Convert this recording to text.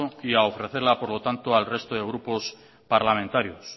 y a ofrecerla por lo tanto al respeto de grupos parlamentarios